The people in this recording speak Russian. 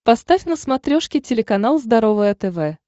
поставь на смотрешке телеканал здоровое тв